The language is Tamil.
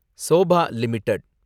sofa limited